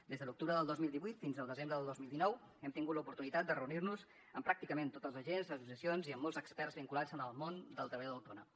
des de l’octubre del dos mil divuit fins al desembre del dos mil dinou hem tingut l’oportunitat de reunir nos amb pràcticament tots els agents associacions i amb molts experts vinculats amb el món del treballador autònom